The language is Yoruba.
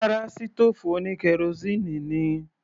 Rárá, sítòòfù oní kerosíínì ni.